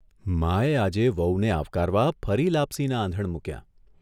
માએ આજે વહુને આવકારવા ફરી લાપસીનાં આંધણ મૂક્યાં.